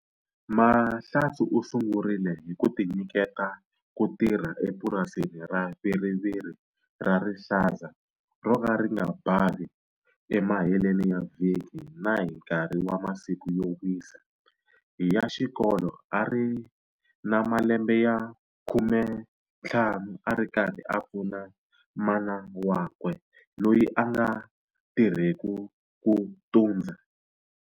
Mahlatse u sungurile hi ku tinyiketa ku tirha epurasini ra viriviri ra rihlaza ro ka ri nga bavi emaheleni ya vhiki na hi nkarhi wa masiku yo wisa ya xikolo a ri na malembe ya 15 a ri karhi a pfuna mana wakwe loyi a nga tirheku ku tundza.